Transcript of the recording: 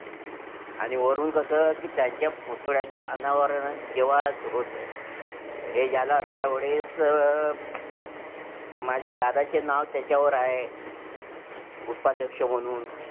आणि वरून कसं कि त्यांच्या पुतळ्याचं अनावरण जेव्हा होत, हे झालं त्यावेळेस माझ्या दादाचे नाव त्याच्यावर आहे, उपाध्यक्ष म्हणून